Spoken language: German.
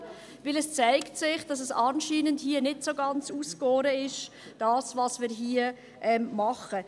Denn hier zeigt es sich, dass es anscheinend nicht so ganz ausgegoren ist – das, was wir hier machen.